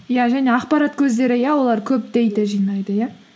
иә және ақпарат көздері иә олар көп дэйта жинайды иә